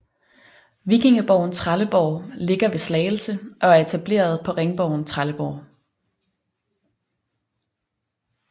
Vikingeborgen Trelleborg ligger ved Slagelse og er etableret på ringborgen Trelleborg